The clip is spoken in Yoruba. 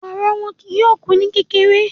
Ọ̀rọ̀ wọn kìí yọọ̀ kú ní kèkèrè